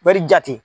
Wari jate